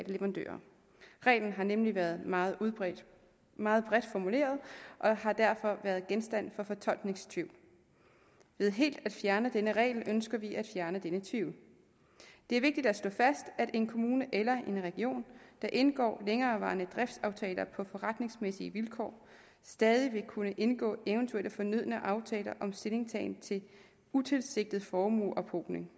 leverandører reglen har nemlig været meget bredt meget bredt formuleret og har derfor været genstand for fortolkningstvivl ved helt at fjerne denne regel ønsker vi at fjerne denne tvivl det er vigtigt at slå fast at en kommune eller en region der indgår længerevarende driftsaftaler på forretningsmæssige vilkår stadig vil kunne indgå eventuelle fornødne aftaler om stillingtagen til utilsigtet formueophobning